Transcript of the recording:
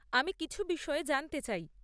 আমি কিছু বিষয়ে জানতে চাই।